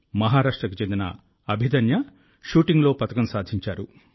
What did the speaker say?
మహారాష్ట్రకు చెందిన అభిదన్య షూటింగ్లో పతకం సాధించారు